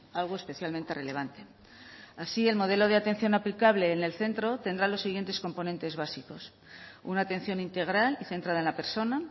algo especialmente relevante así el modelo de atención aplicable en el centro tendrá los siguientes componentes básicos una atención integral y centrada en la persona